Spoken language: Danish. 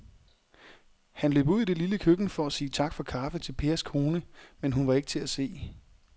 Han løb ud i det lille køkken for at sige tak for kaffe til Pers kone, men hun var ikke til at se.